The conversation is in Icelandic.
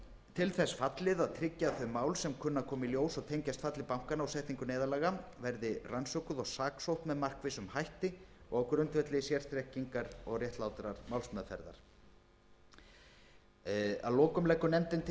til þess fallið að tryggja að þau mál sem kunna að koma í ljós og tengjast falli bankanna og setningu neyðarlaganna verði rannsökuð og saksótt með markvissum hætti og á grundvelli sérþekkingar og réttlátrar málsmeðferðar að lokum